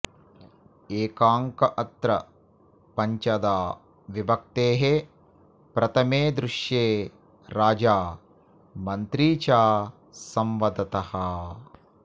एकाङ्कऽत्र पञ्चधा विभक्तेः प्रथमे दृश्ये राजा मन्त्री च संवदतः